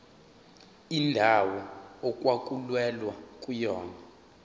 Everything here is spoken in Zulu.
indawo okwakulwelwa kuyona